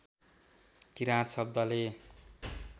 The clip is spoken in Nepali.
किराँत शब्दले